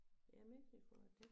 Ja Mexico er det